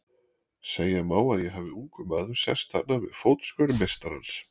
Segja má að ég hafi ungur maður sest þarna við fótskör meistarans.